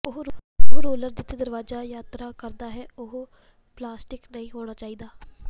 ਉਹ ਰੋਲਰ ਜਿਸਤੇ ਦਰਵਾਜਾ ਯਾਤਰਾ ਕਰਦਾ ਹੈ ਉਹ ਪਲਾਸਟਿਕ ਨਹੀਂ ਹੋਣਾ ਚਾਹੀਦਾ